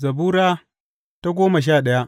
Zabura Sura goma sha daya